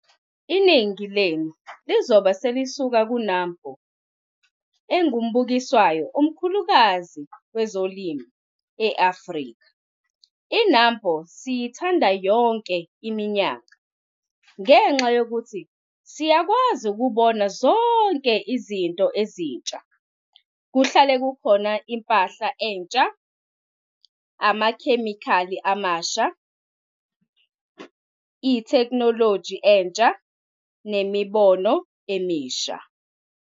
Iningi lenu lizobe selisuka ku-NAMPO - engumbukiso omkhulukazi kwezolimo e-Afrika. I-NAMPO siyithanda yonke iminyaka ngengxa yokuthi siyakwazi ukubona zonke izinto ezintsha. Kuhlale kukhona impahla entsha, amakhemikhali amasha, itheknoloji entsha nemibono emisha.